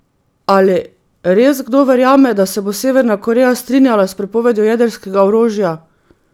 Ali res kdo verjame, da se bo Severna Koreja strinjala s prepovedjo jedrskega orožja?